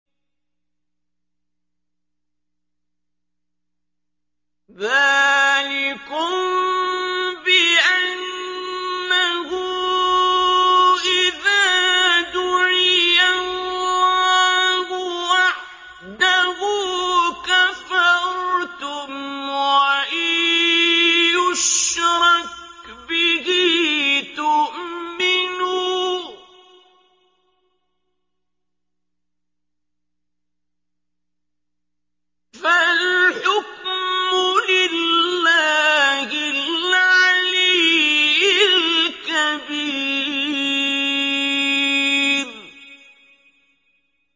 ذَٰلِكُم بِأَنَّهُ إِذَا دُعِيَ اللَّهُ وَحْدَهُ كَفَرْتُمْ ۖ وَإِن يُشْرَكْ بِهِ تُؤْمِنُوا ۚ فَالْحُكْمُ لِلَّهِ الْعَلِيِّ الْكَبِيرِ